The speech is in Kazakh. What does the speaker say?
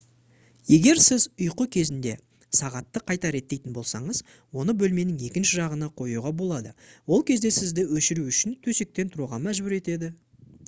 егер сіз ұйқы кезінде сағатты қайта реттейтін болсаңыз оны бөлменің екінші жағына қоюға болады ол кезде сізді өшіру үшін төсектен тұруға мәжбүр етеді